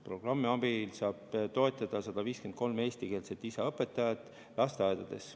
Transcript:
Programmi abil saab toetada 153 eestikeelset lisaõpetajat lasteaedades.